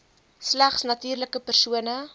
slegs natuurlike persone